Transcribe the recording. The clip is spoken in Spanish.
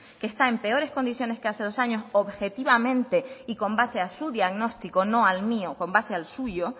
que está en peores condiciones que hace dos años objetivamente con base a su diagnóstico no al mío con base al suyo